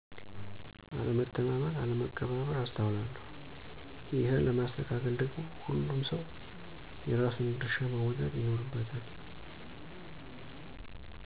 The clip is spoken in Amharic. አለመተማመን አለመከባበር አስተውላለሁ። ይሄን ለማስተካከል ደግሞ ሁሉም ሰው የየራሱን ድርሻ መወጣት ይኖርበታል።